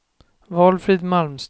Valfrid Malmström